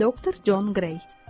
Doktor Con Qrey.